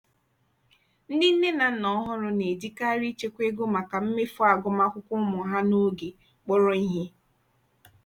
ndị nne na nna ọhụrụ na-ejikarị ịchekwa ego maka mmefu agụmakwụkwọ ụmụ ha n'oge kpọrọ ihe.